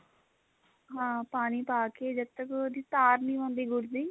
ਹਾਂ ਪਾਣੀ ਪਾਕੇ ਜਦੋਂ ਤੱਕ ਉਹਦੀ ਤਾਰ ਨਹੀਂ ਹੁੰਦੀ ਗੁੜ ਦੀ